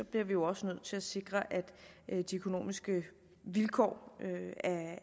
bliver vi jo også nødt til at sikre at de økonomiske vilkår